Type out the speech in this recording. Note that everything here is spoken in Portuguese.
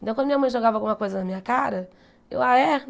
Então, quando minha mãe jogava alguma coisa na minha cara, eu ah, é?